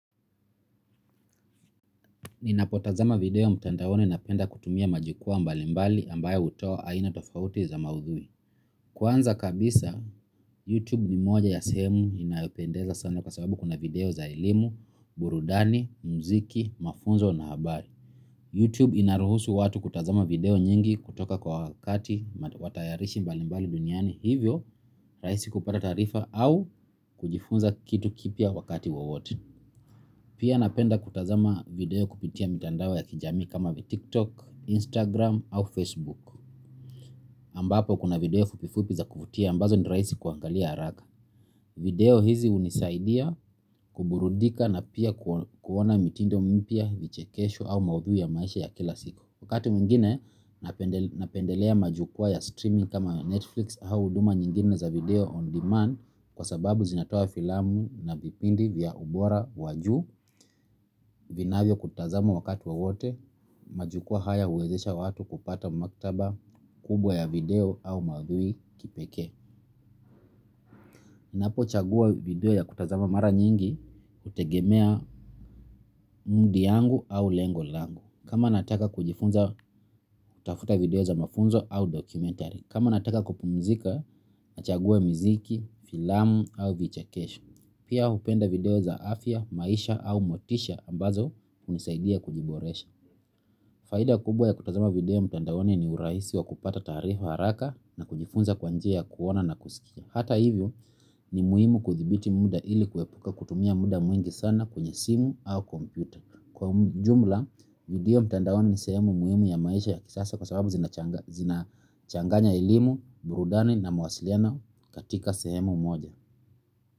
Ninapotazama video mtandaoni napenda kutumia majukwaa mbalimbali ambayo hutoa aina tofauti za maudhui. Kwanza kabisa, YouTube ni moja ya sehemu inayopendeza sana kwa sababu kuna video za elimu, burudani, muziki, mafunzo na habari. YouTube inaruhusu watu kutazama video nyingi kutoka kwa watayarishi mbalimbali duniani hivyo ni rahisi kupata taarifa au kujifunza kitu kipya wakati wowote. Pia napenda kutazama video kupitia mitandao ya kijamii kama vile tiktok, instagram au facebook ambapo kuna video fupifupi za kuvutia ambazo ni rahisi kuangalia haraka. Video hizi hunisaidia kuburudika na pia kuona mitindo mpya, vichekesho au maudhui ya maisha ya kila siku wakati mwingine napendelea majukwaa ya streaming kama ya Netflix ama huduma zingine za video on demand kwa sababu zinatoa filamu na vipindi vya ubora wa juu vinavyo tazamwa wakati wowote majukwaa haya huwezesha watu kupata maktaba kubwa ya video au madhui ya kipekee ninapo chagua video ya kutazama mara nyingi hutegemea mudi yangu au lengo langu kama nataka kujifunza hutafuta video za mafunzo au dokumentari kama nataka kupumzika nachagua mziki, filamu au vichakesho. Pia hupenda video za afya, maisha au motisha ambazo hunisaidia kujiboresha. Faida kubwa ya kutazama video mtandaoni ni urahisi wa kupata taarifa haraka na kujifunza kwa njia ya kuona na kusikia. Hata hivyo ni muhimu kuthibiti muda ili kuepuka kutumia muda mwingi sana kwenye simu au computer. Kwa jumla, video mtandaoni ni sehemu muhimu ya maisha ya kisasa kwa sababu zinachanganya elimu, burudani na mawasiliano katika sehemu moja.